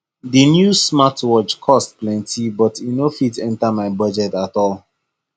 that new smartwatch cost plenty but e no fit enter my budget at all